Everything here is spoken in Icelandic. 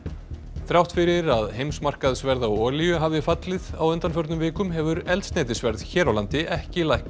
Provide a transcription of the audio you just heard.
þrátt fyrir að heimsmarkaðsverð á olíu hafi fallið á undanförnum vikum hefur eldsneytisverð hér á landi ekki lækkað